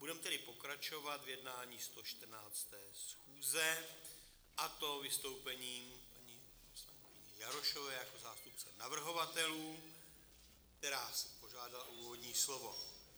Budeme tedy pokračovat v jednání 114. schůze, a to vystoupením paní poslankyně Jarošové jako zástupce navrhovatelů, která si požádala o úvodní slovo.